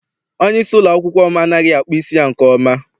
Onyeisi ụlọakwụkwọ m anaghị akpụ isi ya nke ọma.